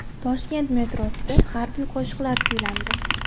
Toshkent metrosida harbiy qo‘shiqlar kuylandi.